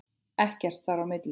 Ekkert þar á milli.